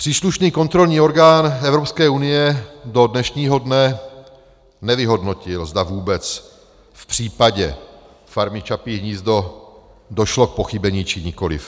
Příslušný kontrolní orgán Evropské unie do dnešního dne nevyhodnotil, zda vůbec v případě Farmy Čapí hnízdo došlo k pochybení, či nikoliv.